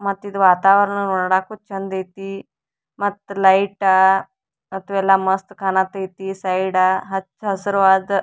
ಮತ್ತಿದು ವಾತಾವರಣ ನೋಡಾಕು ಚೆಂದೈತಿ ಮತ್ತ್ ಲೈಟ ಮತ್ತು ಎಲ್ಲ ಮಸ್ತ್ ಕಾಣತೈತಿ ಸೈಡ ಹಚ್ಚ್ ಹಸಿರುವಾದ.